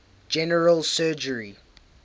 general surgery